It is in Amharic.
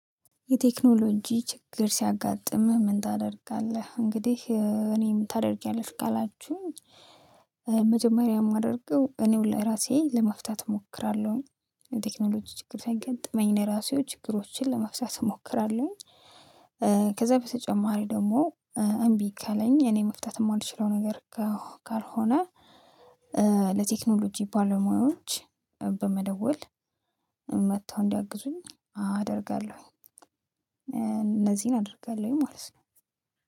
የቴክኖሎጂ ችግር ሲያጋጥምህ ምን ታደርጋለህ? እንግዲህ እኔ ምን ታደርጊያለሽ ካላችሁኝ መጀመሪያ የማደርገው እኔ ሁሉ ራሴ ለመፍታት እሞክራለሁ። የቴክኖሎጂ ችግር ሰያገጥመኝ እኔ ራሴው ችግሮችን ለመፍሳተት እሞክራለሁኝ። ከዚያ በተጨማሪ ደግሞ እምቢ ከለኝ እኔ መፍታት የማልችለው ነገር ካልሆነ ለቴክኖሎጂ ባለሙያዎች በመደወል መጥተው እንዲያግዙኝ አደርጋለሁኝ። እነዚህን አደርጋለሁ ማለት ነው